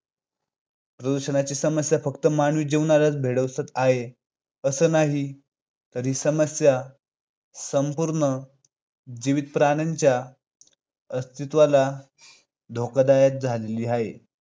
प्रदूषणाची समस्या फक्त मानवी जीवनालाच भेडसावत आहे, असं नाही तर ही समस्या संपूर्ण जीवित प्राण्यांच्या अस्तित्वाला धोकादायक झालेली आहे.